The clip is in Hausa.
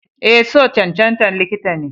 Eh, so cancantan likita ne.